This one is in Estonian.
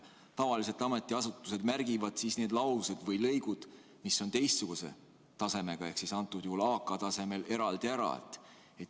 Tavaliselt ametiasutused märgivad need laused või lõigud, mis on teistsuguse tasemega ehk antud juhul AK-tasemega, eraldi ära.